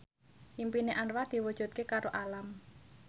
impine Anwar diwujudke karo Alam